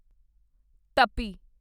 ਟੱਪੀ